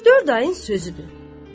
Üç-dörd ayın sözüdür.